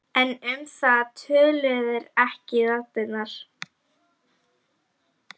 En um það töluðu ekki raddirnar.